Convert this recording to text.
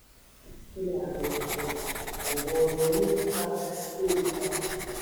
báńkì kuda dẹnu kọlẹ̀ um ọ̀gọ̀ọ̀rọ̀ oníbàárà ń pè fún àtúnṣe.